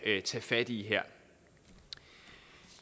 tage fat i